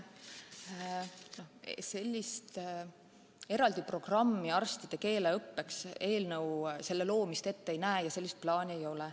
Eraldi programmi arstide keeleõppeks eelnõu ette ei näe ja sellist plaani ei ole.